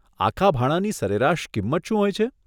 આખા ભાણાની સરેરાશ કિંમત શું હોય છે?